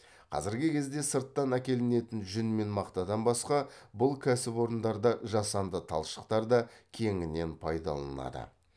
қазіргі кезде сырттан әкелінетін жүн мен мақтадан басқа бұл кәсіпорындарда жасанды талшықтар да кеңінен пайдаланылады